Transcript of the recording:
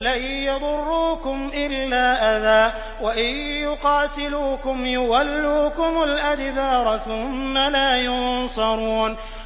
لَن يَضُرُّوكُمْ إِلَّا أَذًى ۖ وَإِن يُقَاتِلُوكُمْ يُوَلُّوكُمُ الْأَدْبَارَ ثُمَّ لَا يُنصَرُونَ